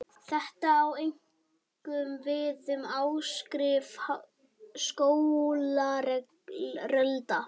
Þetta á einkum við um áhrif skógarelda.